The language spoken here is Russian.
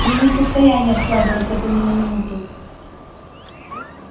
я не в состоянии откладывать это ни на минуту